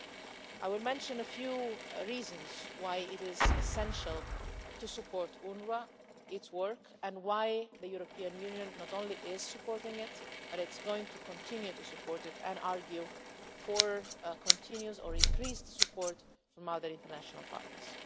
I would like to mention a few reasons why it is essential to support UNWRA, its work and why the European Union not only is supporting it but is going to continue to support it and argue for continued or increased support from other international partners.